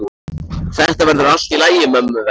Þetta verður allt í lagi mömmu vegna.